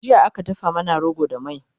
jiya aka dafa mana rogo da mai